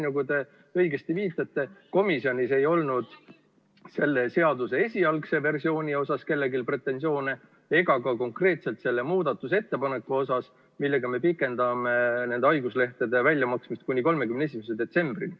Nagu te õigesti viitasite, komisjonis ei olnud selle seaduseelnõu esialgse versiooni kohta kellelgi pretensioone ega ka selle muudatusettepaneku kohta, millega me pikendame haiguslehtede väljamaksmist kuni 31. detsembrini.